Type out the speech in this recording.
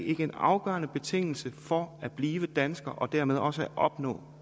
ikke en afgørende betingelse for at blive dansker og dermed også at opnå